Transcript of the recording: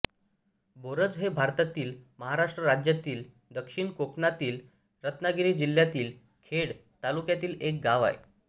बोरज हे भारतातील महाराष्ट्र राज्यातील दक्षिण कोकणातील रत्नागिरी जिल्ह्यातील खेड तालुक्यातील एक गाव आहे